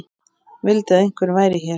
Vildi að einhver væri hér.